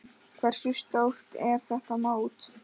Hversu stórt er þetta mót?